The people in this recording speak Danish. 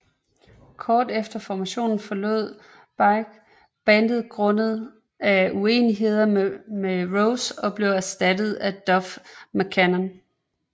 Kort efter formationen forlod Beich bandet grundet af uenigheder med Rose og blev erstattet af Duff McKagan